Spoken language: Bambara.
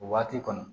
O waati kɔnɔ